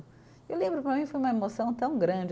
E eu lembro, para mim, foi uma emoção tão grande.